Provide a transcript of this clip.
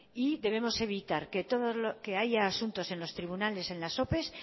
y debemos evitar que haya asuntos en los tribunales en las ope